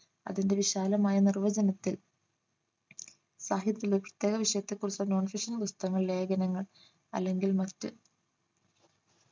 അതിന്റെ വിശാലമായ നിർവചനത്തിൽ സാഹിത്യത്തിലെ പുസ്തക വിഷയത്തെ കുറിച്ച non fictional പുസ്തകങ്ങൾ ലേഖനങ്ങൾ അല്ലെങ്കിൽ മറ്റ്